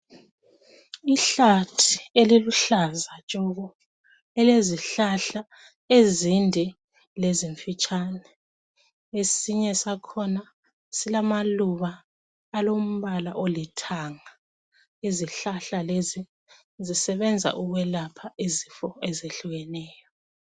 Ihlathi eliluhlaza tshoko elilezihlahla ezinde lezimfitshane. Esinye sakhona silamaluba alombala olithanga. Izihlahla lezi zisebenza ukwelapha izifo ezehlukeneyo.